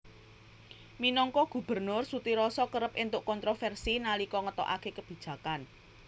Minangka gubernur Sutiroso kerep entuk kontroversi nalika ngetokake kebijakan